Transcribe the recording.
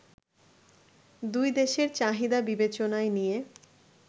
দুই দেশের চাহিদা বিবেচনায় নিয়ে